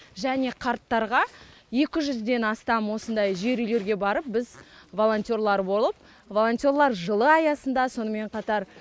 және қарттарға екі жүзден астам осындай жер үйлерге барып біз волонтерлар болып волонтерлар жылы аясында сонымен қатар